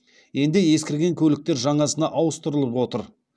енді ескірген көліктер жаңасына ауыстырылып отыр